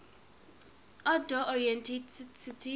outdoor oriented city